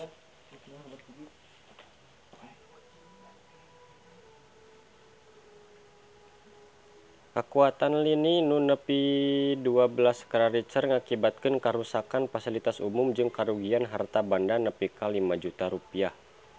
Kakuatan lini nu nepi dua belas skala Richter ngakibatkeun karuksakan pasilitas umum jeung karugian harta banda nepi ka 5 juta rupiah